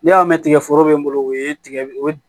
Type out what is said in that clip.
N'i y'a mɛn tigɛ tigɛ foro bɛ n bolo o ye tigɛ